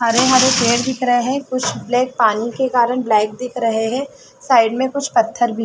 हरे - हरे पेड़ दिख रहे हैं कुछ पानी के कारण ब्लैक दिख रहे हैं साइड में कुछ पत्थर भी है।